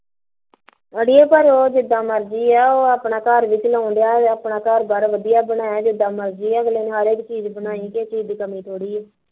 ਅੜੀਏ ਉਹ ਭਾਂਵੇ ਚੱਲ ਜਿਦਾਂ ਮਰਜ਼ੀ ਐ ਉਹ ਆਪਣਾ ਘਰ ਵੀ ਚਲਾਉਣ ਡਿਆ ਵਾਂ, ਆਪਣਾ ਘਰ ਬਾਰ ਵਧੀਆ ਬਣਾਇਆ ਜਿਦਾਂ ਮਰਜ਼ੀ ਐ ਅਗਲੇ ਨੇ ਹਰ ਇੱਕ ਚੀਜ਼ ਬਣਾਈ ਕਿਸੇ ਚੀਜ਼ ਦੀ ਕਮੀ ਥੋੜੀ ਐ